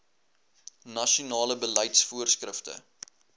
nasionale beleids voorskrifte